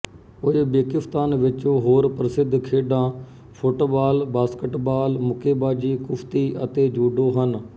Uzbekistan ਵਿੱਚ ਹੋਰ ਪ੍ਰਸਿੱਧ ਖੇਡਾਂ ਫੁੱਟਬਾਲ ਬਾਸਕਟਬਾਲ ਮੁੱਕੇਬਾਜ਼ੀ ਕੁਸ਼ਤੀ ਅਤੇ ਜੂਡੋ ਹਨ